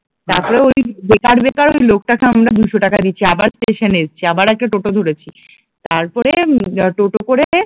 তারপর এই বেকার বেকার লোকটাকে আমরা দুশোটাকা দিয়েছি, আবার স্টেশনে এসেছি আবার একটা টোটো ধরেছি তারপরে উম টোটো করে